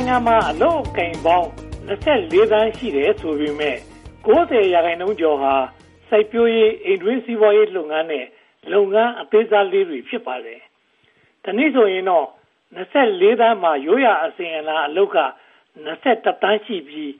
ုင်ငံမှာ အလုပ်အကိုင်ပေါင်း (၂၄) သန်း ရှိတယ်ဆိုပေမယ့် (၉၀) ရာခိုင်နှုန်းကျော်ဟာ စိုက်ပျိုးရေး၊ အိမ်တွင်းစီးပွားရေးလုပ်ငန်းနဲ့ လုပ်ငန်းအသေးစားလေးတွေ ဖြစ်ပါတယ်။ တနည်းဆိုရင်တော့ (၂၄) သန်းမှာ ရိုးရာအစဉ်အလာအလုပ်က (၂၁) သန်းရှိပြီး